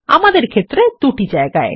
আমাদের ক্ষেত্রে দুটি জায়গায়